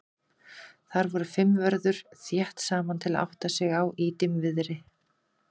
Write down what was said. Þar voru fimm vörður þétt saman til að átta sig á í dimmviðri.